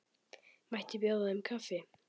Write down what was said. Mætti bjóða þeim kaffi?